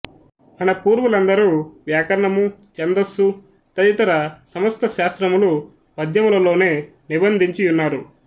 మనపూర్వులందరు వ్యాకరణము ఛందస్సు తదితర సమస్తశాస్త్రములు పద్యములలోనే నిబంధించి యున్నారు